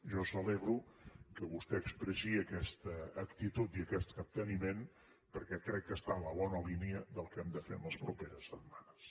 jo celebro que vostè expressi aquesta actitud i aquest capteniment perquè crec que està en la bona línia del que hem de fer les properes setmanes